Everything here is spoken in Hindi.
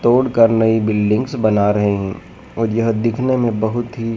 तोड़ कर नई बिल्डिंग्स बना रहे हैं और यह दिखने में बहुत ही--